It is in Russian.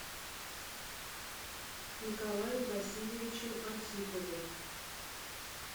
николаем васильевичем архиповым